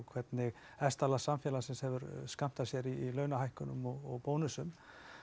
hvernig hæsta lag samfélagsins hefur skammtað sér í launahækkunum og bónusum